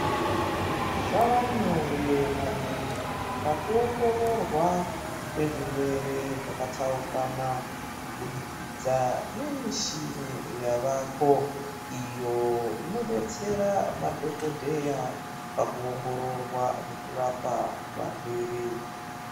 Zvavanyore maningi paku ongororwa kwezvigwere zvakatsaukana, kubudikidza nemishini yavako iyo inodetsera madhokodheya paku ongororwa nekurapa varwere.